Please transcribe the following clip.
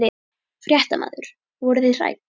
Fréttamaður: Voruð þið hrædd?